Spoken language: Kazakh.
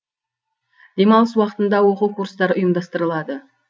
демалыс уақытында оқу курстары ұйымдастырылады